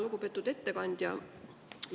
Lugupeetud ettekandja!